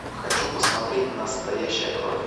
хочу посмотреть настоящая кровь